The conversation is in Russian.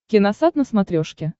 киносат на смотрешке